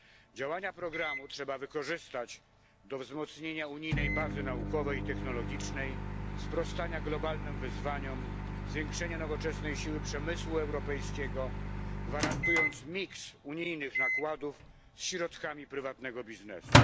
Działania programu trzeba wykorzystać do wzmocnienia unijnej bazy naukowej i technologicznej, sprostania globalnym wyzwaniom, zwiększenia nowoczesnej siły przemysłu europejskiego, gwarantując kombinację unijnych nakładów ze środkami prywatnego biznesu.